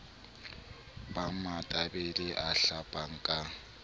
ba matebele a hlapang ka